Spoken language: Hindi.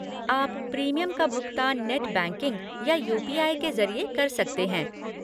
आप प्रीमियम का भुगतान नेट बैंकिंग या यू.पी.आई. के ज़रिए कर सकते हैं।